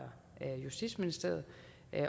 justitsministeriet